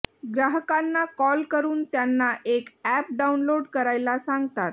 ग्राहकांना कॉल करून त्यांना एक अॅप डाऊनलोड करायला सांगतात